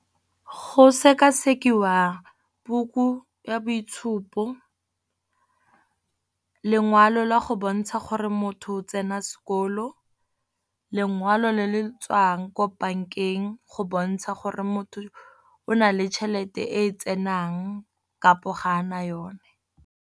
Go sekasekiwa book-u ya boitshupo, lengwalo la go bontsha gore motho o tsena sekolo, lengwalo le le tswang ko bank-eng go bontsha gore motho o na le tšhelete e tsenang kapo ga a na yone.